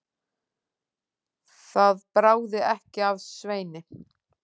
Það bráði ekki af Sveini.